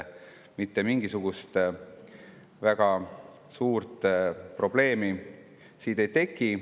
Mitte mingisugust suurt probleemi siin ei teki.